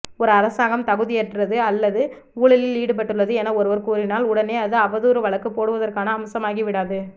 ஒரு அரசாங்கம் தகுதியற்றது அல்லது ஊழலில் ஈடுபட்டுள்ளது என ஒருவர் கூறினால் உடனே அது அவதூறு வழக்கு போடுவதற்கான அம்சமாகிவிடாது